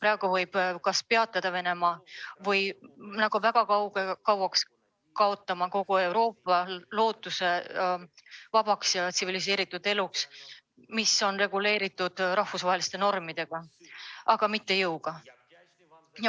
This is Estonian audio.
Praegu võib Venemaa kas peatada või kaotada väga kauaks lootuse, et kogu Euroopas valitseks vaba ja tsiviliseeritud elu, mis on reguleeritud rahvusvaheliste normide, mitte jõuga.